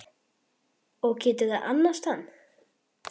Og geturðu annast hann?